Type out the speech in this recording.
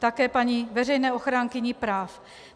Také paní veřejné ochránkyni práv.